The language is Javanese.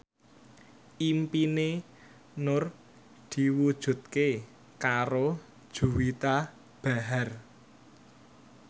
impine Nur diwujudke karo Juwita Bahar